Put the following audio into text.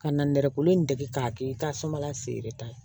Ka na nɛgɛkolo in dege k'a kɛ ka sumala feere ta